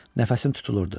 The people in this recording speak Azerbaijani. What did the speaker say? Nəfəsim tutulurdu.